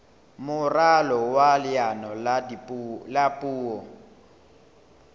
moralo wa leano la puo